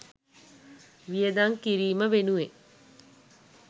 වියදම් කිරීම වෙනුවෙන්